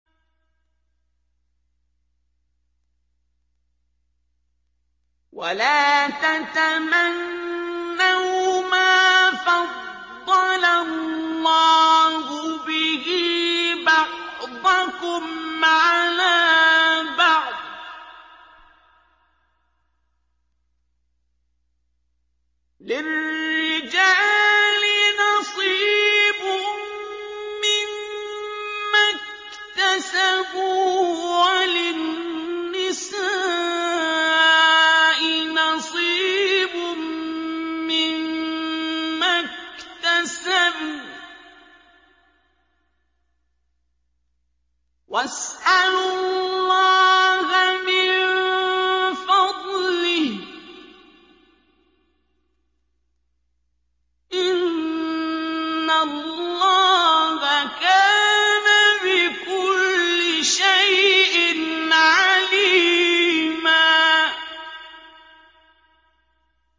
وَلَا تَتَمَنَّوْا مَا فَضَّلَ اللَّهُ بِهِ بَعْضَكُمْ عَلَىٰ بَعْضٍ ۚ لِّلرِّجَالِ نَصِيبٌ مِّمَّا اكْتَسَبُوا ۖ وَلِلنِّسَاءِ نَصِيبٌ مِّمَّا اكْتَسَبْنَ ۚ وَاسْأَلُوا اللَّهَ مِن فَضْلِهِ ۗ إِنَّ اللَّهَ كَانَ بِكُلِّ شَيْءٍ عَلِيمًا